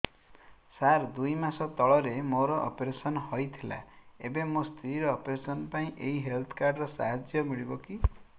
ସାର ଦୁଇ ମାସ ତଳରେ ମୋର ଅପେରସନ ହୈ ଥିଲା ଏବେ ମୋ ସ୍ତ୍ରୀ ର ଅପେରସନ ପାଇଁ ଏହି ହେଲ୍ଥ କାର୍ଡ ର ସାହାଯ୍ୟ ମିଳିବ କି